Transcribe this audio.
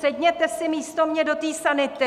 Sedněte si místo mě do té sanity!